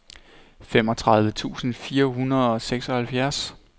femogtredive tusind fire hundrede og seksoghalvfjerds